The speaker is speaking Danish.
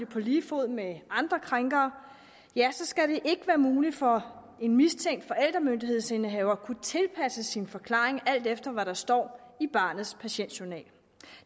på lige fod med andre krænkere skal det ikke være muligt for en mistænkt forældremyndighedsindehaver at tilpasse sin forklaring alt efter hvad der står i barnets patientjournal